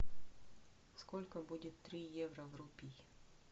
сколько будет три евро в рупий